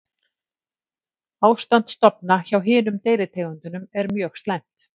Ástand stofna hjá hinum deilitegundunum er mjög slæmt.